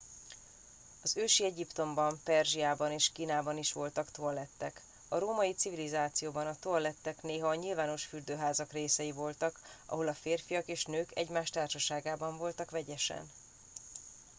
az ősi egyiptomban perzsiában és kínában is voltak toalettek a római civilizációban a toalettek néha a nyilvános fürdőházak részei voltak ahol a férfiak és nők egymás társaságban voltak vegyesen